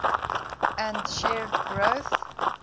and shared growth